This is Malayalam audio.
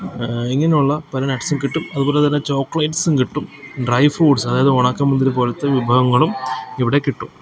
ആ ഇങ്ങനെയുള്ള പല നട്ട്സും കിട്ടും അതുപോലെതന്നെ ചോക്ലേറ്റ്സും കിട്ടും ഡ്രൈ ഫ്രൂട്ട്സ് അതായത് ഉണക്ക മുന്തിരി പോലത്തെ വിഭവങ്ങളും ഇവിടെ കിട്ടും.